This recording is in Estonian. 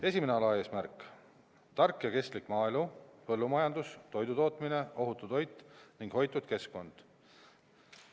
Esimene alaeesmärk: tark ja kestlik maaelu, põllumajandus, toidutootmine, ohutu toit ja hoitud keskkond.